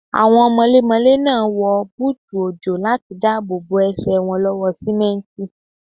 Àwọn mọlémọlé náà wọ búùtù òjò láti dáàbò bo Ẹsẹ̀ wọn lọ́wọ́ sìmẹ́ǹtì.